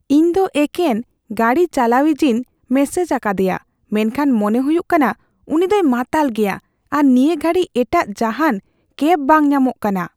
ᱤᱧ ᱫᱚ ᱮᱠᱮᱱ ᱜᱟᱹᱰᱤ ᱪᱟᱹᱞᱣᱟᱭᱤᱡᱤᱧ ᱢᱮᱥᱮᱡ ᱟᱠᱟᱫᱤᱭᱟ ᱢᱮᱱᱠᱷᱟᱱ ᱢᱚᱱᱮ ᱦᱩᱭᱩᱜ ᱠᱟᱱᱟ ᱩᱱᱤ ᱫᱚᱭ ᱢᱟᱛᱟᱞ ᱜᱮᱭᱟ ᱟᱨ ᱱᱤᱭᱟᱹ ᱜᱷᱟᱹᱲᱤᱡ ᱮᱴᱟᱜ ᱡᱟᱦᱟᱱ ᱠᱮᱵ ᱵᱟᱝ ᱧᱟᱢᱚᱜ ᱠᱟᱱᱟ ᱾